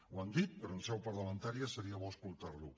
ho han dit però en seu parlamentària seria bo escoltar ho